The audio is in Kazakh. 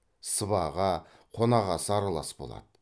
сыбаға қонақасы аралас болады